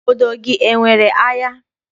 Obodo gị enwere ahịa?